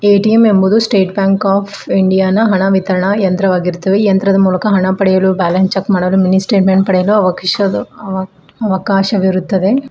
ATM ಎಂಬುವುದು state bank of India ನಾ ಹಣ ವಿತರಣಾ ಯಂತ್ರವಾಗಿರುತ್ತದೆ ಯಂತ್ರದ ಮೂಲಕ ಹಣ ಪಡೆಯಲು ಬ್ಯಾಲೆನ್ಸ್ ಚೆಕ್ ಮಾಡಲು ಅವಕಾಶವಿರುತ್ತದೆ.